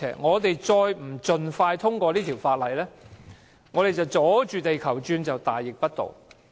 若不盡快通過《條例草案》，我們"阻住地球轉"就是大逆不道。